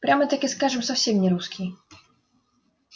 прямо-таки скажем совсем не русский